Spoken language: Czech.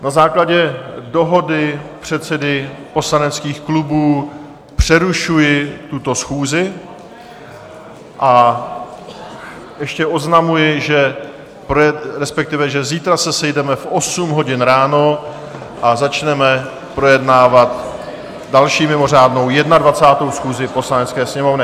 Na základě dohody předsedů poslaneckých klubů přerušuji tuto schůzi a ještě oznamuji, že zítra se sejdeme v 8.00 hodin ráno a začneme projednávat další mimořádnou, 21., schůzi Poslanecké sněmovny.